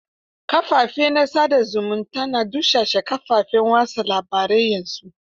Kafafen sa da zumunta na dusashe kafafen watsa labarai yanzu.